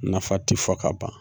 Nafa ti fɔ ka ban.